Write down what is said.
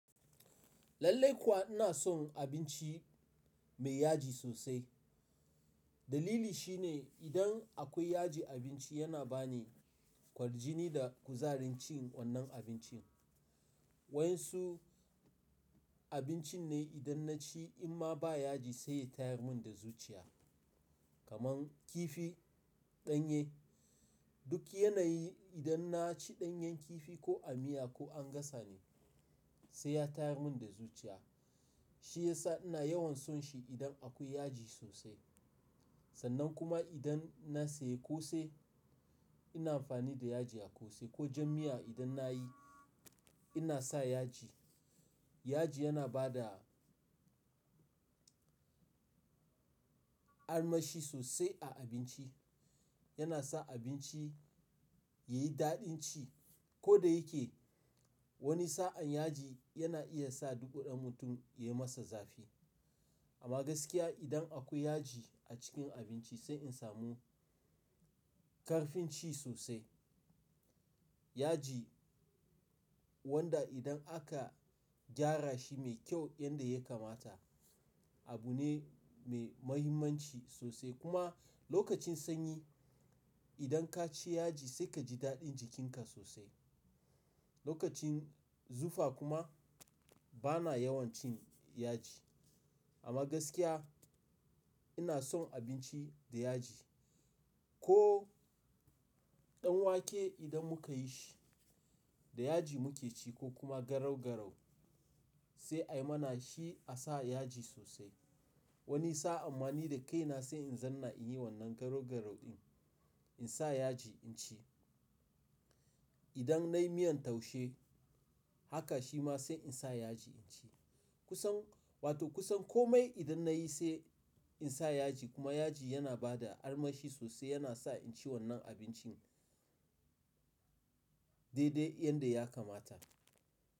Lallai kuwa ina son abinci mai yaji sosai. Dalili shine idan akwai yaji abinci yana bani kwarjini da kuzarin cin wannan abincin. Wayansu abincin ne idan na ci amma ba yaji sai ya tayar mun da zuciya. Kaman kifi, ɗanye, duk yanayi idan na ci ɗanyen kifi ko a miya ko an gasa ne sai ya tayar mun da zuciya. Shi ya sa ina yawan son shi idan akwai yaji sosai. Sannan kuma idan na sayi ƙosai ina amfani da yaji a ƙosai ko jam miya idan na yi ina sa yaji. Yaji yana ba da armashi sosai a abinci, yana sa abinci ya yi daɗin ci. Ko da yake wani sa'an yaji yana iya sa dubu ɗan mutum ya yi masa zafi. Amma gaskiya idan akwai yaji a cikin abinci sai in samu ƙarfin ci sosai. Yaji wanda idan aka gyara shi mai kyau yanda ya kamata abu ne mai muhimmanci sosai kuma lokacin sanyi idan ka ci yaji sai ka ji daɗin jikinka sosai. Lokacin zufa kuma bana yawan cin yaji. Amma gaskiya ina son abinci da yaji. Ko ɗanwake idan muka yi shi da yaji muka ci ko kuma garau-garau sai ai mana shi a sa yaji sosai. Wani sa'an ma ni da kaina sai in zanna in yi wannan garau-garau ɗin in sa yaji in ci. Idan na yi miyan taushe haka shi ma sai in sa yaji in ci. Kusan wato kusan kome idan na yi sai in sa yaji kuma yaji yana ba da armashi sosai yana sa in ci wannan abincin daidai yanda ya kamata.